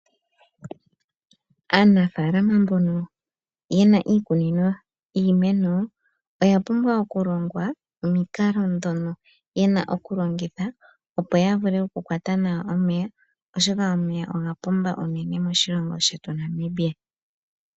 Aanafaalama mbono yena iikunino yiimeno oya pumbwa okulongwa omikalo ndhono yena okulongitha opo ya vule okukwata nawa omeya. Oshoka omeya oga pumba unene moshilongo shetu Namibia.